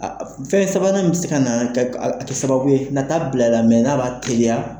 Fɛn sabanan min bɛ se ka na sababu ye n''a t'a bila i la a b'a teliya.